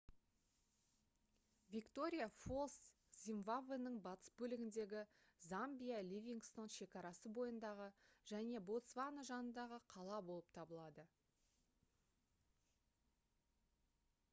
виктория фоллс зимбабвенің батыс бөлігіндегі замбия ливингстон шекарасы бойындағы және ботсвана жанындағы қала болып табылады